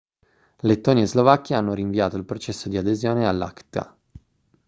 lettonia e slovacchia hanno rinviato il processo di adesione all'acta